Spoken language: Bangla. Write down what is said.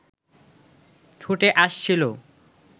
ছুটে আসছিল